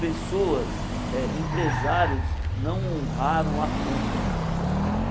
Pessoas eh, empresários, não honraram a compra.